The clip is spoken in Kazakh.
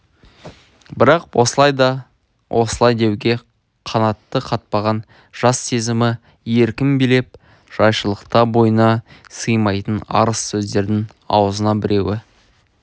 бірақ осылай да осылай деуге қанаты қатпаған жас сезімі еркін билеп жайшылықта бойына сыймайтын арыз сөздердің аузына біреуі